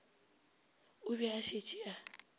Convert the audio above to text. o be a šetše a